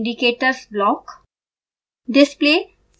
display और indicators block